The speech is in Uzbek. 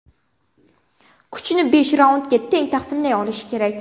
Kuchni besh raundga teng taqsimlay olish kerak.